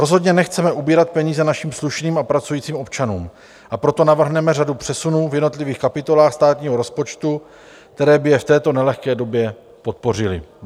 Rozhodně nechceme ubírat peníze našim slušným a pracujícím občanům, a proto navrhneme řadu přesunů v jednotlivých kapitolách státního rozpočtu, které by je v této nelehké době podpořily.